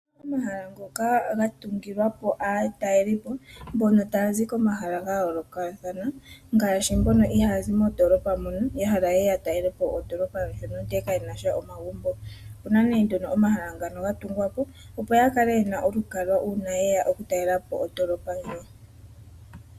Omahala ngoka ga tungilwa po aatalelipo, mbono taa zi komahala ga yoolokathana, ngaashi mbono iha ya zi mondoolopa mono, ya hala ye ye ya talele po ondoolopa yonrmtumba, ndele ka ye na sha omagumbo. Opu na nee nduno omahala ngono ga tungwa, po opo ya kale ye na olukalwa uuna ye ya okutalela po ondoolopa ndjo.